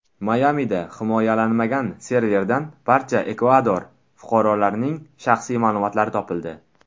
Mayamida himoyalanmagan serverdan barcha Ekvador fuqarolarining shaxsiy ma’lumotlari topildi.